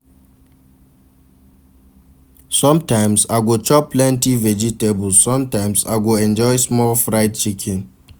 Sometimes, I go chop plenty vegetables, sometimes I go enjoy small fried chicken